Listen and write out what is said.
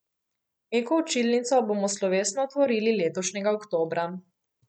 Eko učilnico bomo slovesno otvorili letošnjega oktobra.